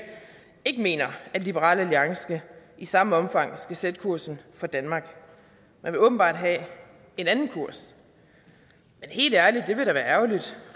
ikke mener at liberal alliance i samme omfang skal sætte kursen for danmark man vil åbenbart have en anden kurs men helt ærligt det vil da være ærgerligt